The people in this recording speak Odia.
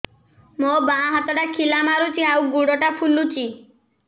ମୋ ବାଆଁ ହାତଟା ଖିଲା ମାରୁଚି ଆଉ ଗୁଡ଼ ଟା ଫୁଲୁଚି